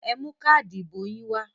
Ẹ mú káádì ìbò yín wá!